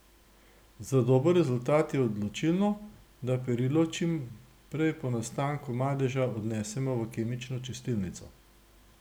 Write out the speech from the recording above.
Za dober rezultat je odločilno, da perilo čim prej po nastanku madeža odnesemo v kemično čistilnico.